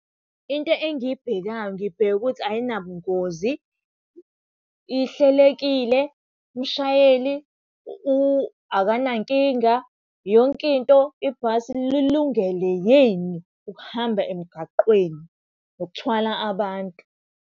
Into engiyibhekayo ngibheka ukuthi ayinabungozi, ihlelekile, umshayeli akanankinga, yonke into ibhasi lilungele yini ukuhamba emgaqweni nokuthwala abantu?